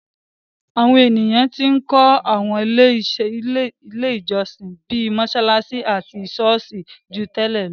Àwọn ènìyàn tí ń kó àwọn ilé ìjọsìn, bíi mọsalasi àti sọ́ọ̀sì, ju ti tẹ́lẹ̀ lọ.